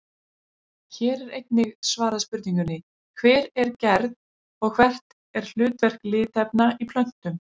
Hér er einnig svarað spurningunni Hver er gerð og hvert er hlutverk litarefna í plöntum?